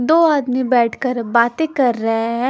दो आदमी बैठकर बातें कर रहे हैं।